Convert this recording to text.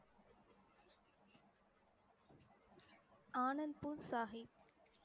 Anandpur Sahib